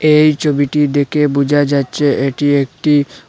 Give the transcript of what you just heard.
এই ছবিটি দেখে বোঝা যাচ্ছে এটি একটি--